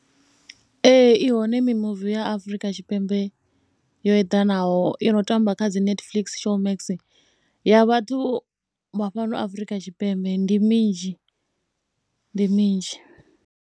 Ee, i hone mimuvi ya Afrika Tshipembe yo eḓanaho i no tamba kha dzi Netflix, Showmax ya vhathu vha fhano Afrika Tshipembe. Ndi minzhi, ndi minzhi.